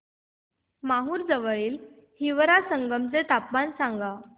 माहूर जवळील हिवरा संगम चे तापमान सांगा